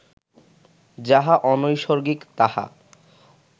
যাহা অনৈসর্গিক, তাহা